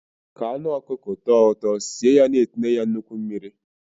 Ka anụ ọkụkọ tọọ ụtọ, sie ya na-etinye ya nnukwu mmiri.